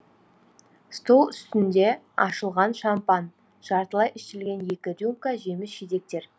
стол үстінде ашылған шампан жартылай ішілген екі рюмка жеміс жидектер